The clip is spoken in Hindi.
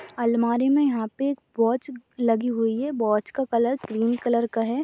अलमारी में यहाँ पे एक वॉच लगी हुई है वॉच का कलर क्रीम कलर का है।